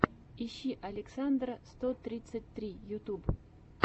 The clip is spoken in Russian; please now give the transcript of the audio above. ищи александра сто тридцать три ютюб